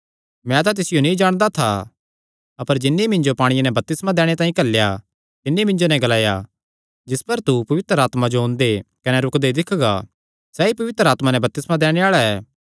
मैं तां तिसियो नीं जाणदा था अपर जिन्नी मिन्जो पांणिये नैं बपतिस्मा दैणे तांई घल्लेया तिन्नी मिन्जो नैं ग्लाया जिस पर तू पवित्र आत्मा जो ओंदे कने रुकदे दिक्खगा सैई पवित्र आत्मा नैं बपतिस्मा दैणे आल़ा ऐ